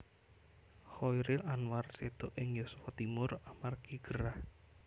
Chairil Anwar séda ing yuswa timur amargi gerah